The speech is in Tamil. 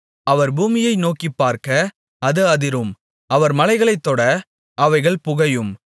அவர் பூமியை நோக்கிப்பார்க்க அது அதிரும் அவர் மலைகளைத் தொட அவைகள் புகையும்